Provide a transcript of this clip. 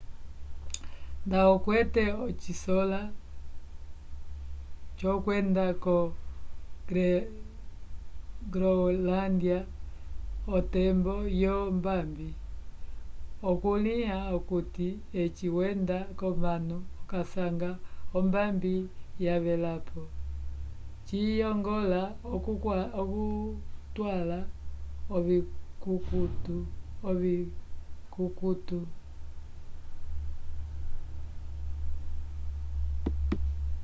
nda okwete ocisola c’okwenda ko-groenlândia otembo yombambi okukulĩha okuti eci wenda k’onano okasanga ombambi yavelapo ciyongola okutwala ovikukutu